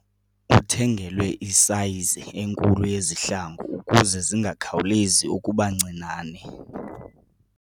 Uthengelwe isayizi enkulu yezihlangu ukuze zingakhawulezi ukuba ncinane.